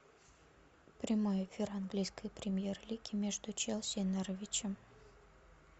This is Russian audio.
прямой эфир английской премьер лиги между челси и норвичем